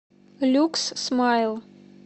люкс смайл